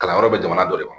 Kalanyɔrɔ bɛ jamana dɔ de ma